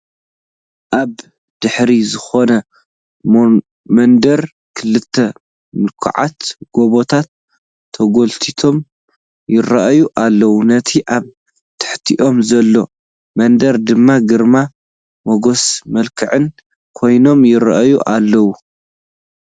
ኣብ ድሕሪ ዝኾነ መንደር ክልተ ምልኩዓት ጐበታት ተጐሊቶም ይርአዩ ኣለዉ፡፡ ነቲ ኣብ ትሕቲኦም ዘሎ መንደር ድማ ግርማ ሞገስን መልክዕን ኮይኖሙ ይርአዩ ኣለዉ፡፡